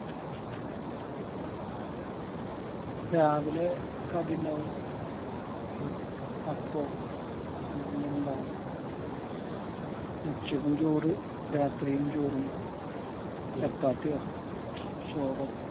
രാവിലെ കടി ഉണ്ടാവും അപ്പം അങ്ങനെ എന്തേലും ഉണ്ടാവും ഉച്ചക്കും ചോറ് രാത്രിയും ചോറുണ്ടാവും ചപ്പാത്തിയോ ചോറ്